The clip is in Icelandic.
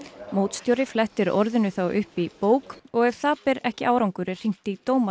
mótstjóri flettir orðinu þá upp í bók og ef það ber ekki árangur er hringt í dómara